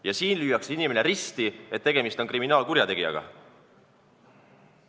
Ja siin lüüakse inimene risti, et tegemist on kriminaalkurjategijaga.